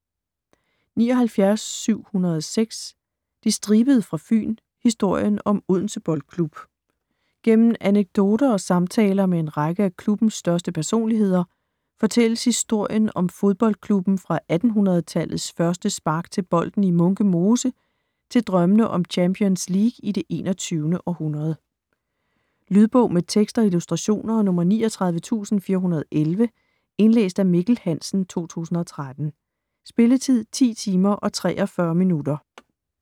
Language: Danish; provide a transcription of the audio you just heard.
79.706 De Stribede fra Fyn: historien om Odense Boldklub Gennem anekdoter og samtaler med en række af klubbens største personligheder fortælles historien om fodboldklubben fra 1800-tallets første spark til bolden i Munke Mose til drømmene om Champions League i det 21. århundrede. Lydbog med tekst og illustrationer 39411 Indlæst af Mikkel Hansen, 2013. Spilletid: 10 timer, 43 minutter.